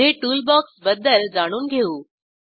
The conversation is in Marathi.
पुढे टूलबॉक्स बद्दल जाणून घेऊ